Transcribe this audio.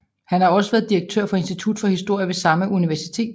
Han har også været direktør for Institut for Historie ved samme universitet